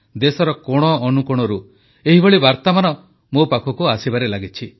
ଦେଶର କୋଣଅନୁକୋଣରୁ ଏହିଭଳି ବାର୍ତ୍ତାମାନ ମୋ ପାଖକୁ ଆସିବାରେ ଲାଗିଛି